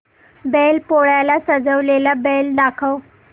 बैल पोळ्याला सजवलेला बैल दाखव